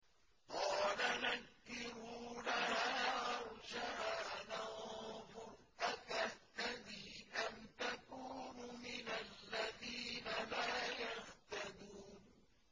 قَالَ نَكِّرُوا لَهَا عَرْشَهَا نَنظُرْ أَتَهْتَدِي أَمْ تَكُونُ مِنَ الَّذِينَ لَا يَهْتَدُونَ